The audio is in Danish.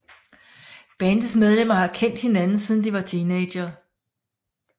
Bandets medlemmer har kendt hinanden siden de var teenagere